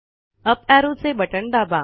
up arrow चे बटण दाबा